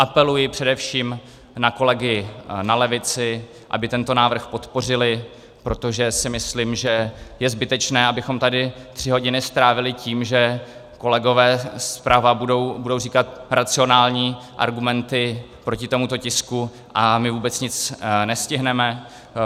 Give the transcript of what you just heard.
Apeluji především na kolegy na levici, aby tento návrh podpořili, protože si myslím, že je zbytečné, abychom tady tři hodiny strávili tím, že kolegové zprava budou říkat racionální argumenty proti tomuto tisku a my vůbec nic nestihneme.